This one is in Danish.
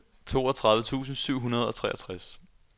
toogtredive tusind syv hundrede og treogtres